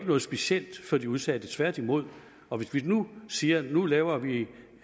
noget specielt for de udsatte tværtimod og hvis vi nu siger at nu laver vi